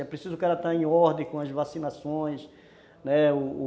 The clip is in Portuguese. É preciso o cara está em ordem com as vacinações, né, u